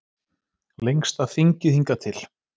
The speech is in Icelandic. Lengsta þingið hingað til